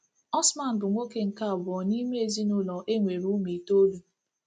Osman bụ nwoke nke abụọ n’ime ezinụlọ e nwere ụmụ itoolu.